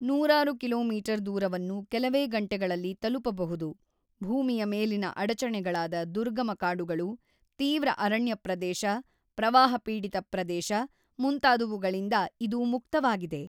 ನೂರಾರು ಕಿಲೋಮೀಟರ್ ದೂರವನ್ನು ಕೆಲವೇ ಗಂಟೆಗಳಲ್ಲಿ ತಲುಪಬಹುದು ಭೂಮಿಯ ಮೇಲಿನ ಅಡಚಣೆಗಳಾದ ದುರ್ಗಮ ಕಾಡುಗಳು ತೀವ್ರ ಅರಣ್ಯ ಪ್ರದೇಶ ಪ್ರವಾಹಪೀಡಿತ ಪ್ರದೇಶ ಮುಂತಾದವುಗಳಿಂದ ಇದು ಮುಕ್ತವಾಗಿದೆ.